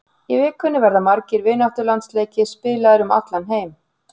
Í vikunni verða margir vináttulandsleikir spilaðir um allan heim.